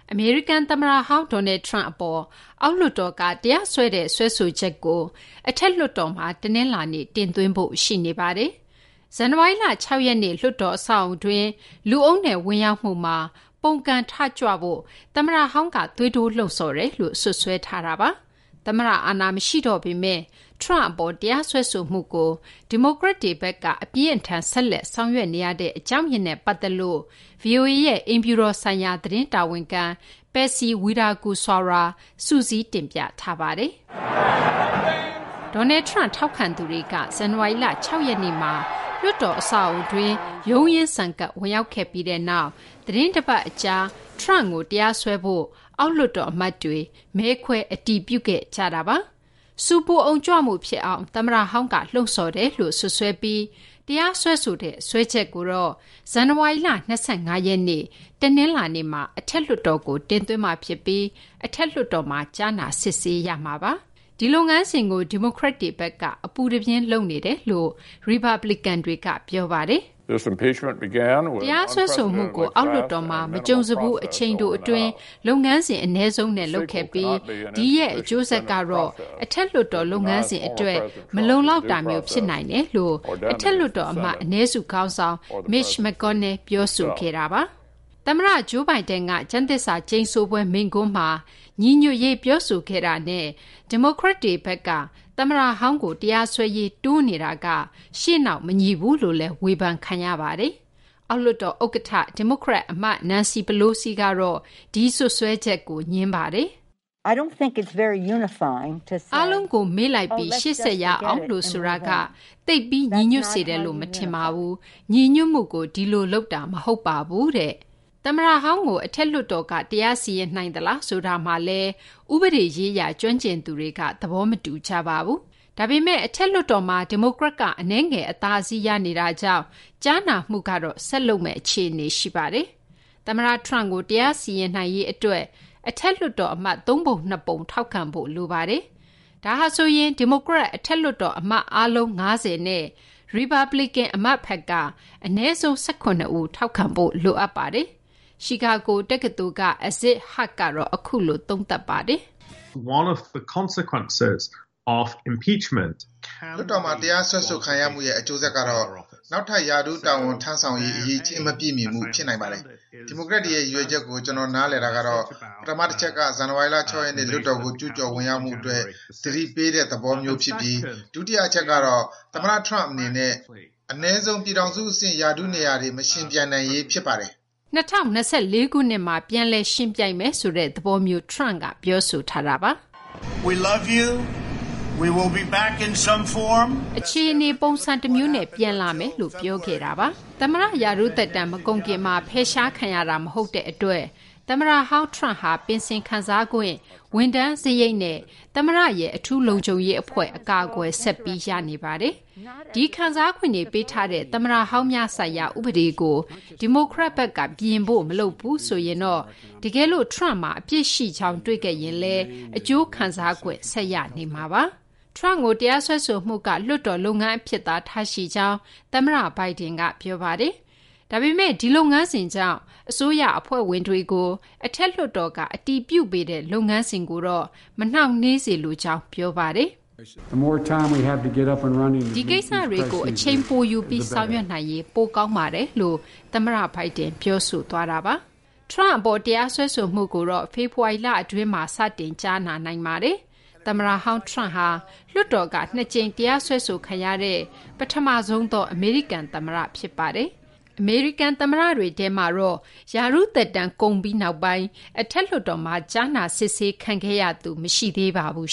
အမေရိကန်သမ္မတဟောင်း Donald Trump အပေါ် အောက်လွှတ်တော်က တရားစွဲတဲ့ စွဲဆိုချက်ကို အထက်လွှတ်တော်မှာ တနင်္လာနေ့ တင်သွင်းဖို့ ရှိနေပါတယ်။ ဇန်နဝါရီလ ၆ ရက်နေ့က လွှတ်တော်အဆောက်အဦးတွင်း လူအုပ်နဲ့ ဝင်ရောက်မှုမှာ ပုန်ကန်ထကြွဖို့ သမ္မတဟောင်းက သွေးထိုးလှုံ့ဆော်တယ်လို့ စွပ်စွဲထားတာပါ။ သမ္မတအာဏာ မရှိတော့ပေမယ့် Trump အပေါ် တရားစွဲဆိုမှုကို ဒီမိုကရက်တွေဘက်က အပြင်းအထန် ဆက်လက် ဆောင်ရွက်နေရတဲ့ အကြောင်းရင်းနဲ့ ပတ်သက်လို့ ဗွီအိုအေရဲ့ အိမ်ဖြူတော်ဆိုင်ရာ သတင်းတာဝန်ခံ Patsy Widakuswara က စုစည်းတင်ပြထားတာကို မသိင်္ဂီထိုက် ပြောပြပေးထားပါတယ်။ Donald Trump ထောက်ခံသူတွေက ဇန်နဝါရီလ ၆ ရက်နေ့မှာ လွှတ်တော်အဆောက်အဦးတွင်း ရုန်းရင်းဆန်ခတ် ဝင်ရောက်ခဲ့ပြီးနောက် သီတင်းတပတ် အကြာမှာပဲ Trump ကို တရားစွဲဖို့ အောက်လွှတ်တော်အမတ်တွေ မဲခွဲ အတည်ပြုခဲ့ကြတာပါ။ ဆူပူအုံကြွမှုဖြစ်အောင် သမ္မတဟောင်းက လှုံ့ဆော်တယ်လို့ စွပ်စွဲပြီး တရားစွဲဆိုတဲ့ စွဲချက်ကိုတော့ ဇန်နဝါရီလ ၂၅ ရက်နေ့ တနင်္လာနေ့မှာ အထက်လွှတ်တော်ကို တင်သွင်းမှာဖြစ်ပြီး အထက်လွှတ်တော်မှာ ကြားနာ စစ်ဆေးရမှာပါ။ ဒီလုပ်ငန်းစဉ်ကို ဒီမိုကရက်တွေဘက်က အပူတပြင်း လုပ်နေတယ်လို့ ရီပတ်ဘလီကန်တွေက ပြောပါတယ်။ “တရားစွဲဆိုမှုကို အောက်လွှတ်တော်မှာ မကြုံစဘူး အချိန်တိုအတွင်း၊ လုပ်ငန်းစဉ် အနည်းဆုံးနဲ့ လုပ်ခဲ့ပြီး ဒီရဲ့ အကျိုးဆက်ကတော့ အထက်လွှတ်တော် လုပ်ငန်းစဉ်အတွက် မလုံလောက်တာမျိုး ဖြစ်နိုင်တယ်” လို့ အထက်လွှတ်တော် အမတ်အနည်းစုခေါင်းဆောင် McConnell ပြောဆိုခဲ့တာပါ။ သမ္မတ Joe Biden က ကျမ်းသစ္စာကျိန်ဆိုပွဲ မိန့်ခွန်းမှာ ညီညွတ်ရေး ပြောဆိုခဲ့တာနဲ့ ဒီမိုကရက်တွေဘက်က သမ္မတဟောင်းကို တရားစွဲရေး တွန်းနေတာက ရှေ့နောက်မညီဘူးလို့လည်း ဝေဖန်ခံရပါတယ်။ အောက်လွှတ်တော်ဥက္ကဋ္ဌ ဒီမိုကရက်အမတ် Nancy Pelosi ကတော့ ဒီစွပ်စွဲချက်ကို ငြင်းပါတယ်။ “အားလုံးမေ့လိုက်ပြီး ရှေ့ဆက်ရအောင်လို့ ဆိုတာက သိပ်ပြီး ညီညွတ်စေတယ်လို့ မထင်ပါဘူး။ ညီညွတ်မှုကို ဒီလိုလုပ်တာ မဟုတ်ပါဘူး။” သမ္မတဟောင်းကို အထက်လွှတ်တော်က တရားစီရင်နိုင်သလား ဆိုတာမှာလည်း ဥပဒေရေးရာ ကျွမ်းကျင်သူတွေက သဘောမတူကြပါဘူး။ ဒါပေမယ့် အထက်လွှတ်တော်မှာ ဒီမိုကရက်က အနည်းငယ် အသာစီးရနေတာကြောင့် ကြားနာမှုကတော့ ဆက်လုပ်မယ့် အခြေအနေ ရှိနေပါတယ်။ Trump ကို တရားစီရင်နိုင်ရေးအတွက် အထက်လွှတ်တော်အမတ် ၃ ပုံ ၂ ပုံက ထောက်ခံဖို့လိုပါတယ်။ ဒါဟာဆိုရင် ဒီမိုကရက် အထက်လွှတ်တော်အမတ် အားလုံး ၅၀ နဲ့ ရီပတ်ဘလီကန် အမတ်ဘက်က အနည်းဆုံး ၁၇ ဦး ထောက်ခံဖို့ လိုအပ်ပါတယ်။ ချီကာဂိုတက္ကသိုလ်က Aziz Huq ကတော့ အခုလို သုံးသပ်ပါတယ်။ “လွှတ်တော်မှာ တရားစွဲဆိုခံရမှုရဲ့ အကျိုးဆက်တခုကတော့ နောက်ထပ် ရာထူးတာဝန် ထမ်းဆောင်ရေး အရည်အချင်း မပြည့်မီမှု ဖြစ်နိုင်ပါတယ်။ ဒီမိုကရက်တွေရဲ့ ရည်ရွယ်ချက်ကို ကျနော်နားလည်တာကတော့ ပထမတချက်က ဇန်နဝါရီလ ၆ ရက်နေ့ လွှတ်တော်ကို ကျူးကျော်ဝင်ရောက်မှုအတွက် သတိပေးဖု့ိ ဖြစ်ပြီး ဒုတိယအချက်ကတော့ သမ္မတ Trump အနေနဲ့ အနည်းဆုံး ပြည်ထောင်စုအဆင့် ရာထူးနေရာတွေ မယှဉ်ပြိုင်နိုင်ရေး ဖြစ်ပါတယ်။” ၂၀၂၄ ခုနှစ်မှာ ပြန်လည်ယှဉ်ပြိုင်မယ်ဆိုတဲ့ သဘောမျိုး Trump က ပြောဆိုထားတာပါ။ “အခြေအနေ ပုံစံတမျိုးနဲ့ ပြန်လာမယ်” လို့ သမ္မတဟောင်း Trump ပြောခဲ့တာပါ။ သမ္မတရာထူးသက်တမ်း မကုန်ခင်မှာ ဖယ်ရှားခံရတာ မဟုတ်တဲ့အတွက် သမ္မတဟောင်း Trump ဟာ ပင်စင်ခံစားခွင့်၊ ဝန်ထမ်းစရိတ်နဲ့ သမ္မတရဲ့ အထူးလုံခြုံရေးအဖွဲ့ အကာအကွယ် ဆက်ပြီး ရရှိနေပါတယ်။ ဒီခံစားခွင့်တွေ ပေးထားတဲ့ သမ္မတဟောင်းများဆိုင်ရာ ဥပဒေကို ဒီမိုကရက်ဘက်က ပြင်ဖို့ မလုပ်ဘူးဆိုရင်တော့ တကယ်လို့ Trump မှာ အပြစ်ရှိကြောင်း တွေ့ခဲ့ရင်လည်း အကျိုးခံစားခွင့် ဆက်ရနေမှာပါ။ Trump ကို တရားစွဲဆိုမှုက လွှတ်တော်လုပ်ငန်းအဖြစ်သာ ထားရှိကြောင်း သမ္မတ Biden က ပြောပါတယ်။ ဒါပေမယ့် ဒီလုပ်ငန်းစဉ်ကြောင့် အစိုးရအဖွဲ့ဝင်တွေကို အထက်လွှတ်တော်က အတည်ပြုပေးတဲ့ လုပ်ငန်းစဉ်ကိုတော့ မနှောင့်နှေးစေလိုကြောင်း ပြောပါတယ်။ “ဒီကိစ္စတွေကို အချိန်ပိုယူပြီး ဆောင်ရွက်နိုင်ရင် ပိုကောင်းပါတယ်” လို့ သမ္မတ Biden ပြောဆိုခဲ့တာပါ။ Trump အပေါ် တရားစွဲဆိုမှုကိုတော့ ဖေဖော်ဝါရီလတွင်းမှာ စတင် ကြားနာနိုင်ပါတယ်။ သမ္မတဟောင်း Trump ဟာ လွှတ်တော်က ၂ ကြိမ် တရားစွဲခံရတဲ့ ပထမဆုံးသော အမေရိကန်သမ္မတ ဖြစ်ပါတယ်။ အမေရိကန် သမ္မတတွေထဲမှာတော့ ရာထူးသက်တမ်း ကုန်ပြီးနောက်ပိုင်း အထက်လွှတ်တော်မှာ ကြားနာစစ်ဆေးခံခဲ့ရသူ မရှိသေးပါဘူး